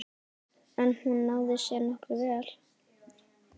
En hún náði sér nokkuð vel.